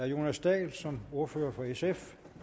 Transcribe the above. jonas dahl som ordfører for sf